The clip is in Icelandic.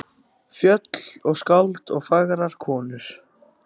Fjöll og skáld og fagrar konur.